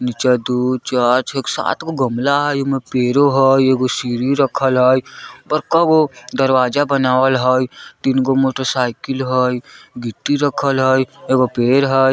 नीचे दु चार छ सातगो गमला हई एमे पेड़ो हई एगो सीढ़ी रखल हई पर कगो दरवाजा बनवाल हई तीनगो मोटोर साईकल है गिट्टी रखल हई एगो पेड़ हई।